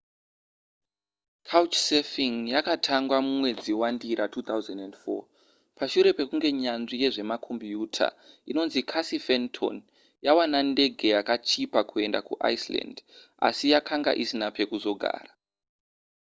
couchsurfing yakatangwa mumwedzi wandira 2004 pashure pekunge nyanzvi yezvemakombiyuta inonzi casey fenton yawana ndege yakachipa kuenda kuiceland asi yakanga isina pekuzogara